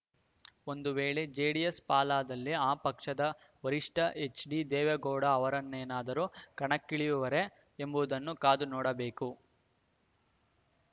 ಒಂದು ವೇಳೆ ಜೆಡಿಎಸ್‌ ಪಾಲಾದಲ್ಲಿ ಆ ಪಕ್ಷದ ವರಿಷ್ಠ ಎಚ್‌ಡಿದೇವೇಗೌಡ ಅವರೇನಾದರೂ ಕಣಕ್ಕಿಳಿಯುವರೇ ಎಂಬುದನ್ನು ಕಾದು ನೋಡಬೇಕು